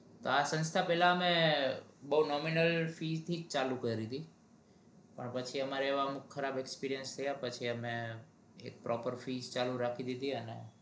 આ સસ્થા પેલા અમે બહુ nominal fee થી ચાલુ કર્યું તું પછી અમારે ખરાબ experience થયોપછી અમે proper fee ચાલુ કરી